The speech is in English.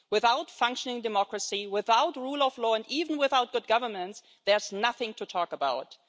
Without functioning democracy, without rule of law, and even without good governance, there is nothing to talk about it.